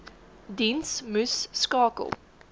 diens moes skakel